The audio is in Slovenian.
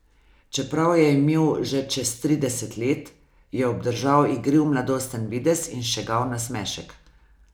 Čeprav je imel že čez trideset let, je obdržal igriv mladosten videz in šegav nasmešek.